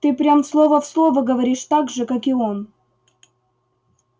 ты прям слово в слово говоришь так же как и он